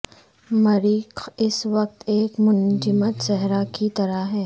مریخ اس وقت ایک منجمد صحرا کی طرح ہے